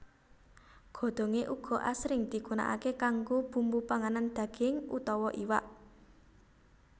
Godhongé uga asring digunakaké kanggo bumbu panganan daging utawa iwak